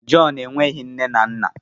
John nweghị nne na nna!